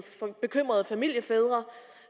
bekymrede familiefædre